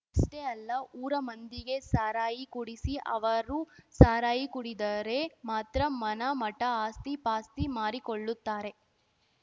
ಅಷ್ಟೇ ಅಲ್ಲ ಊರ ಮಂದಿಗೆ ಸಾರಾಯಿ ಕುಡಿಸಿ ಅವರು ಸಾರಾಯಿ ಕುಡಿದರೆ ಮಾತ್ರ ಮನ ಮಠ ಆಸ್ತಿ ಪಾಸ್ತಿ ಮಾರಿಕೊಳ್ಳುತ್ತಾರೆ